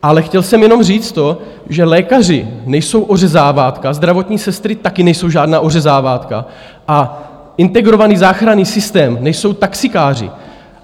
Ale chtěl jsem jenom říct to, že lékaři nejsou ořezávátka, zdravotní sestry také nejsou žádná ořezávátka a integrovaný záchranný systém nejsou taxikáři!